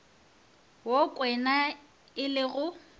wo kwena e le go